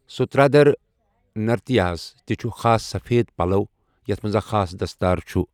سترادھر نرتیا ہَس تہِ چھُ خاص سفید پلَو یتھ منٛز اکھ خاص دستار چھُ ۔